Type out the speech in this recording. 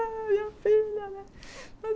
Ah, minha filha, né?